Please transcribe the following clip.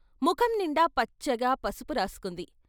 ముఖంనిండా పచ్చగా పసుపు రాసుకుంది.